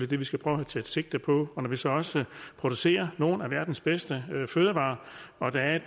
det vi skal prøve at tage sigte på og når vi så også producerer nogle af verdens bedste fødevarer og der er et